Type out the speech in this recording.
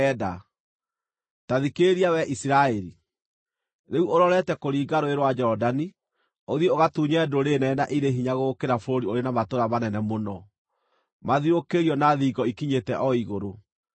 Ta thikĩrĩria wee Isiraeli. Rĩu ũrorete kũringa Rũũĩ rwa Jorodani ũthiĩ ũgatunye ndũrĩrĩ nene na irĩ hinya gũgũkĩra, bũrũri ũrĩ na matũũra manene mũno mathiũrũrũkĩirio na thingo ikinyĩte o igũrũ.